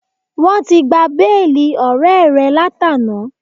Wọ́n ti gba béèlì ọ̀rẹ́ẹ̀ rẹ látàná.